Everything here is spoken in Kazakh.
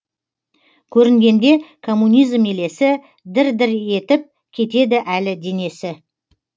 көрінгенде коммунизм елесі дір дір етіп кетеді әлі денесі